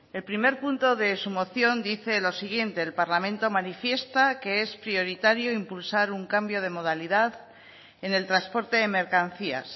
el primer punto de su moción dice lo siguiente el parlamento manifiesta que es prioritario impulsar un cambio de modalidad en el transporte de mercancías